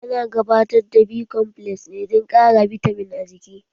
An gabatar da B komfles ne dan ƙara bitamin a jiki